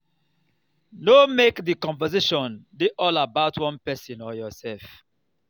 no make di conversation dey all about one person or yourself